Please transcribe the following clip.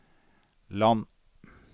land